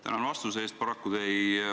Tänan vastuse eest!